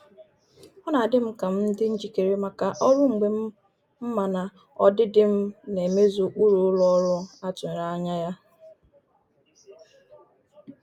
Ọ na adị m ka m dị njikere maka ọrụ mgbe m ma na ọdịdị m na emezu ụkpụrụ ụlọ ọrụ a tụrụ anya ya.